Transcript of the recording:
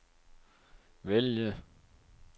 vælg